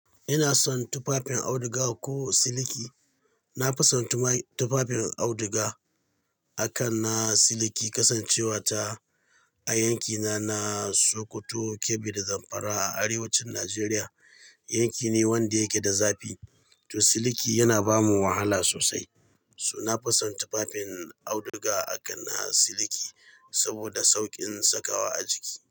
Ina son tufafin auduga ko siliki. Na fi son tufafin auduga a kan na siliki, kasancewata a yankina na Sokoto, Kebbi da Zamfara a arewacin Najeriya. Yanki ne wanda yake da zafi, to siliki yana bamu wahala sosai. To na fi son tufafin auduga a kan na siliki saboda saukin sakawa a jiki.